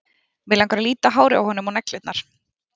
Mig langar að líta á hárið á honum og neglurnar.